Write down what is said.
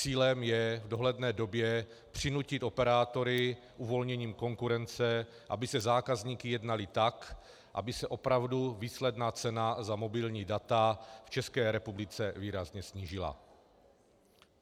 Cílem je v dohledné době přinutit operátory uvolněním konkurence, aby se zákazníky jednali tak, aby se opravdu výsledná cena za mobilní data v České republice výrazně snížila.